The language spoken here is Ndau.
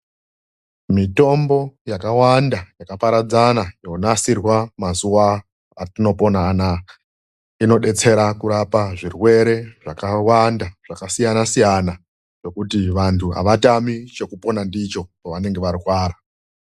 Mitombo yakawanda yakaparadzana yonasirwa mazuva atopona anawa inodetsera kurapa zvirwere zvakawanda zvakasiyana siyana zvekuti vandu havatami chekupona ndicho pavanenge varwara.